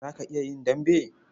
Za ka iya yin dambe?